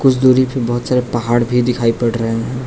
दूरी पे बहुत सारे पहाड़ भी दिखाई पड़ रहा हैं।